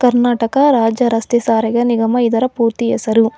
ಕರ್ನಾಟಕ ರಾಜ್ಯ ರಸ್ತೆ ಸಾರಿಗೆ ನಿಗಮ ಇದರ ಪೂರ್ತಿ ಹೆಸರು.